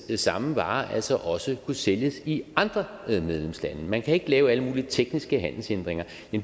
samme vare altså også kunne sælges i andre medlemslande man kan ikke lave alle mulige tekniske handelshindringer